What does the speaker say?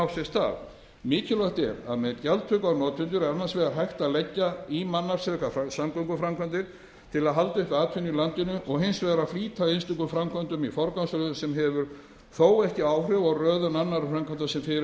stað mikilvægt er að með gjaldtöku á notendur er annars vegar hægt að leggja í mannaflsfrekar samgönguframkvæmdir til að halda upp atvinnu í landinu og hins vegar að flýta einstökum framkvæmdum í forgangsröðun sem hefur þó ekki áhrif á röðun annarra framkvæmda sem fyrirhugað er að